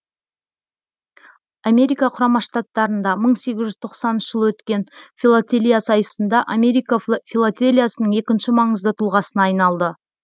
америка құрама штаттарында мың сегіз жүз тоқсаныншы жылы өткен филотелия сайысында америка филотелиясының екінші маңызды тұлғасына айналды